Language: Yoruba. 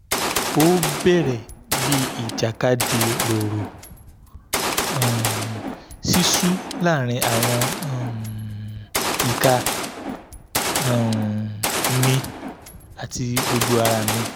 o bẹrẹ bi ijakadi roro um sisu laarin awọn um ika um mi ati gbogbo ara mi